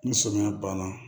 Ni sɔmiya banna